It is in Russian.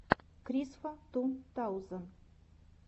крисфа ту таузен